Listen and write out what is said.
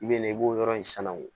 I bɛ na i b'o yɔrɔ in sanango